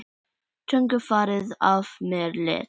Þungu fargi af mér létt.